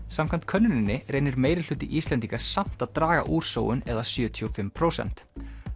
samkvæmt könnuninni reynir meirihluti Íslendinga samt að draga úr sóun eða sjötíu og fimm prósent